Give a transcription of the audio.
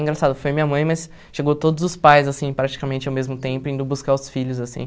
Engraçado, foi minha mãe, mas chegou todos os pais, assim praticamente ao mesmo tempo, indo buscar os filhos assim.